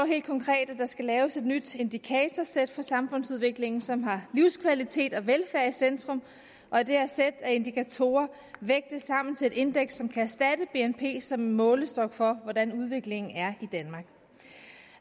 helt konkret at der skal laves et nyt indikatorsæt for samfundsudviklingen som har livskvalitet og velfærd i centrum og at det her sæt af indikatorer vægtes sammen til et indeks som kan erstatte bnp som målestok for hvordan udviklingen er i danmark